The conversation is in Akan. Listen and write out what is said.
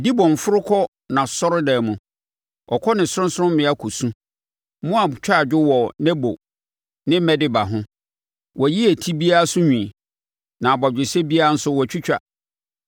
Dibon foro kɔ nʼasɔredan mu, ɔkɔ ne sorɔnsorɔmmea kɔ su; Moab twa adwo wɔ Nebo ne Medeba ho. Wɔayi eti biara so nwi na abɔgyesɛ biara nso wɔatwitwa.